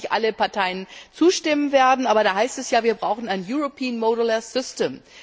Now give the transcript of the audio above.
Ich weiß, dass nicht alle Parteien zustimmen werden, aber da heißt es ja Wir brauchen ein Europäisches modulares System.